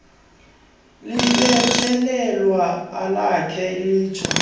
libethelelwa alakhe litsho